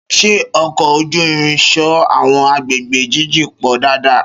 Ṣé ọkọ̀ ojú irin so àwọn agbègbè jíjìn pọ̀ dáadáa?